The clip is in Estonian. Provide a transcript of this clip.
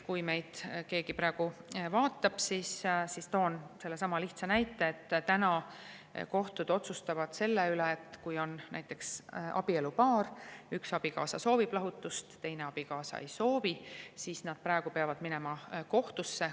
Kui meid keegi praegu vaatab, siis toon jälle sellesama lihtsa näite, et kui on abielupaar ja üks abikaasa soovib lahutust, teine abikaasa ei soovi, siis nad peavad minema kohtusse.